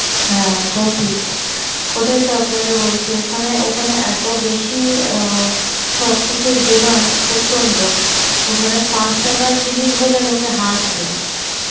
হ্যাঁ এটাও ঠিক, ওটাই তো আপনাকে বলছি ওখানে ওখানে এত বেশি অ্যাঁ সবকিছুর ডিমান্ড প্রচন্ড ওখানে পাঁচ টাকার জিনিস পড়লে লোকে হাসবে